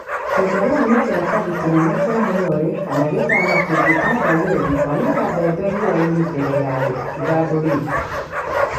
Kĩandarũa nĩ kĩratathi kĩnene kĩa mũnyore kana gĩtama kĩngĩtandaiyo thĩ kwanĩka mbembe riua-inĩ mbere ya ithandũrĩtwo.